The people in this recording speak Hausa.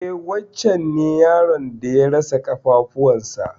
E wancen ne yaron da ya rasa ƙafafuwan sa.